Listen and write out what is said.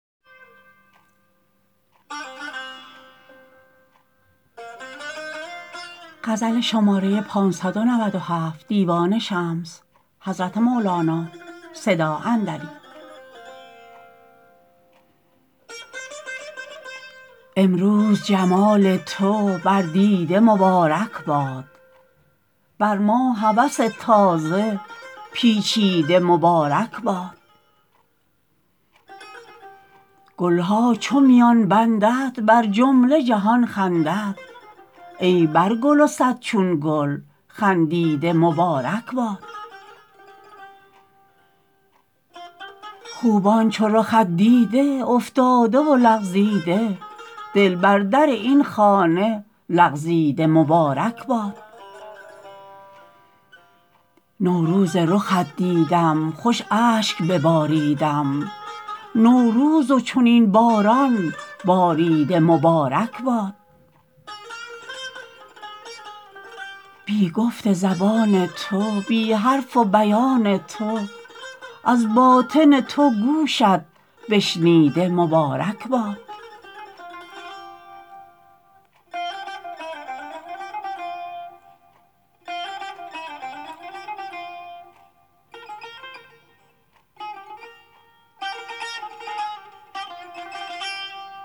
امروز جمال تو بر دیده مبارک باد بر ما هوس تازه پیچیده مبارک باد گل ها چون میان بندد بر جمله جهان خندد ای پرگل و صد چون گل خندیده مبارک باد خوبان چو رخت دیده افتاده و لغزیده دل بر در این خانه لغزیده مبارک باد نوروز رخت دیدم خوش اشک بباریدم نوروز و چنین باران باریده مبارک باد بی گفت زبان تو بی حرف و بیان تو از باطن تو گوشت بشنیده مبارک باد